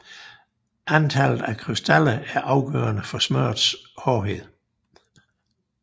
Antallet af krystaller er afgørende for smørrets hårdhed